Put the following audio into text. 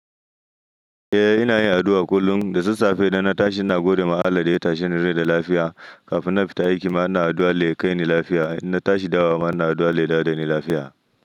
Eh ina yin addu'a kullum, da sassafe idan na tashi ina gode ma Allah da ya tashi ni da lafiya, kafin na fita aiki ma ina addu'a ya kai ni lafiya, idan na tashi dawowa ma ina addu'a ya dawo dani lafiya.